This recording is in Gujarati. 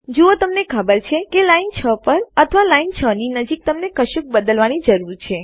જુઓ તમને ખબર છે કે લાઈન 6 પર અથવા લાઈન 6 ની નજીક તમને કશુંક બદલવાની જરૂર છે